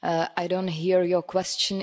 I do not hear your question.